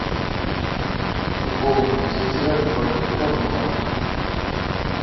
футбол манчестера против тоттенхэма